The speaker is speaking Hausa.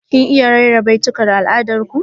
Kin iya rera baitukan al'adar ku?